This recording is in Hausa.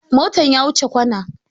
Motan ya wuce kwana